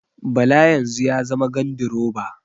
Bala yanzu ya zama gandiroba